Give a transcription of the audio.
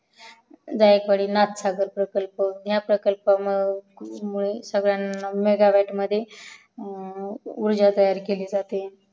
जायकवडी प्रकल्प हया प्रकल्पामुळे सगळ्यांना मेगा व्याट मध्ये ऊर्जा तयार केली जाते